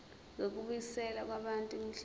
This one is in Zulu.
zokubuyiselwa kwabantu imihlaba